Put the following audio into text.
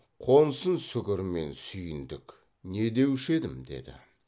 қонсын сүгір мен сүйіндік не деуші едім деді